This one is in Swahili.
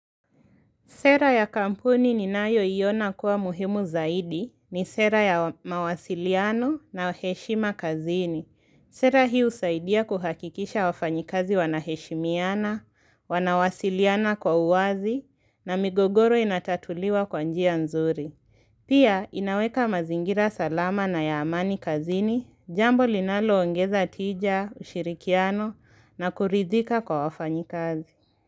Sera ya kampuni ninayo iona kuwa muhimu zaidi ni sera ya mawasiliano na heshima kazini. Sera hii husaidia kuhakikisha wafanyikazi wanaheshimiana, wanawasiliana kwa uwazi na migogoro inatatuliwa kwanjia nzuri. Pia inaweka mazingira salama na yaamani kazini, jambo linalo ongeza tija, ushirikiano na kuridika kwa wafanyikazi.